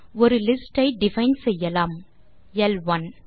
ஒரு லிஸ்ட் ஐ டிஃபைன் செய்யலாம் எல் ஒன்